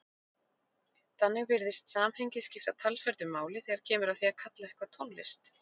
Þannig virðist samhengið skipta talsverðu máli þegar kemur að því að kalla eitthvað tónlist.